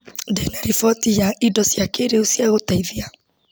Ndĩna riboti ya indo cia kĩrĩu cia gũteithia.